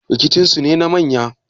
rikicinsu ne na manya